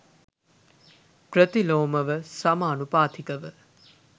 ප්‍රතිලෝමව සමානුපාතිකව